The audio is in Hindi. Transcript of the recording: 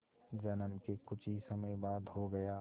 जन्म के कुछ ही समय बाद हो गया